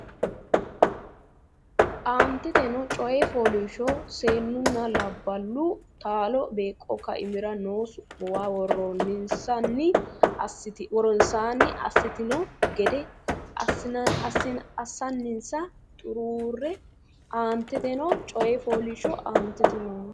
Aanteteno coy fooliishsho Seennunna labballu taalo beeqqo kaimira noo su muuwa woronsaanni assitanno gede assinsa xuruurre Aanteteno coy fooliishsho Aanteteno.